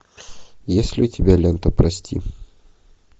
есть ли у тебя лента прости